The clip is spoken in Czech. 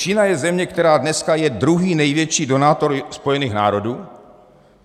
Čína je země, která dneska je druhý největší donátor Spojených národů.